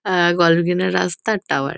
আ গল্ফগ্রিন -এর রাস্তা টাওয়ার ।